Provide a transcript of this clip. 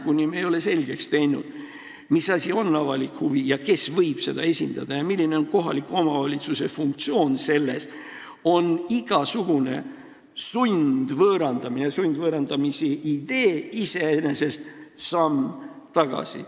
Kuni me ei ole selgeks teinud, mis asi on avalik huvi ja kes võib seda esindada ja milline on kohaliku omavalitsuse funktsioon selles, on igasugune sundvõõrandamine, juba sundvõõrandamise idee iseenesest samm tagasi.